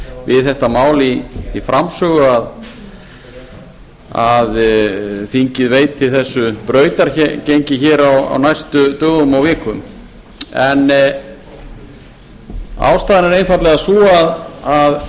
við þetta mál í framsögu að þingið veiti þessu brautargengi hér á næstu dögum og vikum en ástæðan er einfaldlega sú að